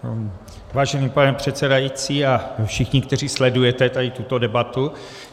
Vážený pane předsedající a všichni, kteří sledujete tady tuto debatu.